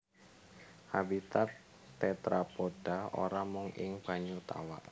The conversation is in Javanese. Habitat tetrapoda ora mung ing banyu tawa